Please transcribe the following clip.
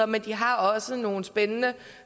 men de har også nogle spændende